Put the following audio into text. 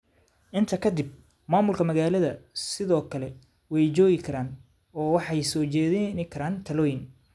Intaa ka dib, maamulka Magaaladu sidoo kale way joogi karaan oo waxay soo jeedin karaan talooyin.